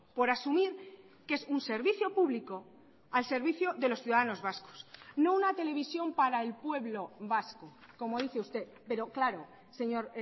por asumir que es un servicio público al servicio de los ciudadanos vascos no una televisión para el pueblo vasco como dice usted pero claro señor